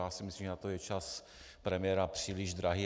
Já si myslím, že na to je čas premiéra příliš drahý.